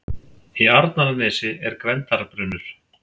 Í Arnarnesi er Gvendarbrunnur.